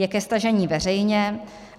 Je ke stažení veřejně.